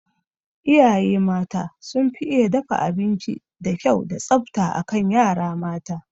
Iyaye mata sun fi iya dafa abinci da kyau da tsafta akan yara mata